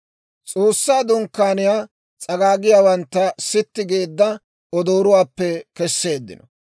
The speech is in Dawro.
S'oossaa Dunkkaaniyaa s'agaagiyaawantta sitti geedda odoorotuwaappe kesseeddino.